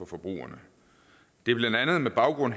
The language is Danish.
forbrugerne det er blandt andet med baggrund